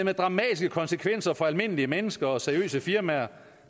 har dramatiske konsekvenser for almindelige mennesker og seriøse firmaer